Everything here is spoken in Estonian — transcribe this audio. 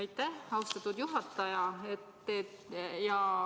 Aitäh, austatud juhataja!